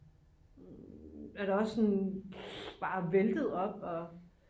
er der også en bare væltet op og